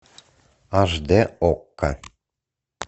аш д окко